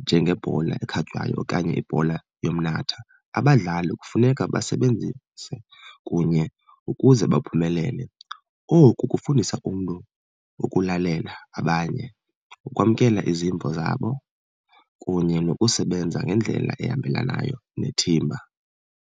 njengebhola ekhatywayo okanye ibhola yomnatha, abadlali kufuneka basebenzise kunye ukuze baphumelele. Oku kufundisa umntu ukulalela abanye, ukwamkela izimvo zabo kunye nokusebenza ngendlela ehambelanayo nethimba.